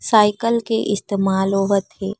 Cycle के इस्तमाल होवत हे।